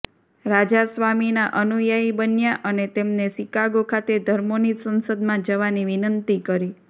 રાજા સ્વામીના અનુયાયી બન્યા અને તેમને શિકાગો ખાતે ધર્મોની સંસદમાં જવાની વિનંતી કરી